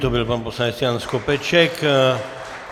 To byl pan poslanec Jan Skopeček.